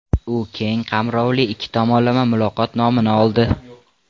U ‘Keng qamrovli ikki tomonlama muloqot’ nomini oldi.